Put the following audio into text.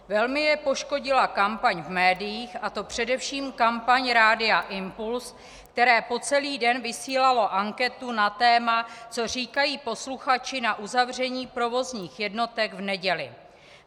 Velmi je poškodila kampaň v médiích, a to především kampaň Rádia Impuls, které po celý den vysílalo anketu na téma "Co říkají posluchači na uzavření provozních jednotek v neděli?".